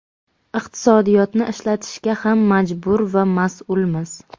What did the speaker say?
iqtisodiyotni ishlatishga ham majbur va mas’ulmiz.